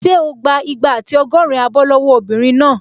Ṣé o gbà igba àti ọgọ́rin abọ́ lọ́wọ́ obìnrin náà?